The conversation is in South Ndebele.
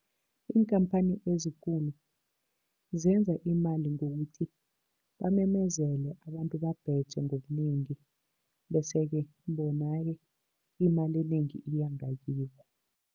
Iinkhamphani ezikulu zenza imali ngokuthi bamemezele, abantu babheje ngobunengi. Bese-ke bona-ke imali enengi iya ngakibo.